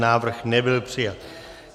Návrh nebyl přijat.